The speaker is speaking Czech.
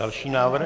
Další návrh.